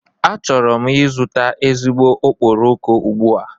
Achọrọ m ịzụta ezigbo okporoko ugbu a.